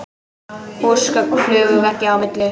Húsgögn flugu veggja á milli.